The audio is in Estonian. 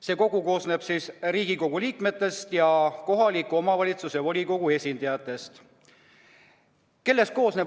See kogu koosneb Riigikogu liikmetest ja kohaliku omavalitsuse volikogude esindajatest.